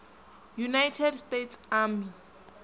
united states army